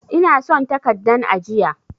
Ina son takaddan ajiya.